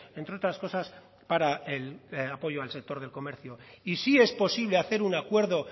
entre otras cosas para el apoyo al sector del comercio y sí es posible hacer un acuerdo